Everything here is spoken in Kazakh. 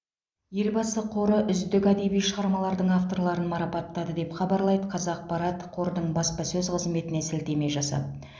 елбасы қоры үздік әдеби шығармалардың авторларын марапаттады деп хабарлайды қазақпарат қордың баспасөз қызметіне сілтеме жасап